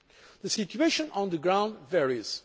The situation on the ground varies.